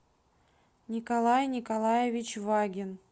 николай николаевич вагин